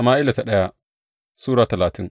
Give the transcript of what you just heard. daya Sama’ila Sura talatin